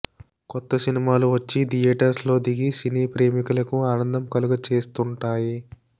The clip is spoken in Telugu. కొత్త సినిమాలు వచ్చి థియోటర్స్ లో దిగి సినీ ప్రేమికులకు ఆనందం కలగచేస్తూంటాయి